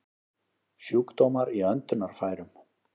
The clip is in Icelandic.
Sjúkdómar í öndunarfærum